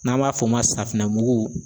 N'an b'a f'o ma safinɛ mugu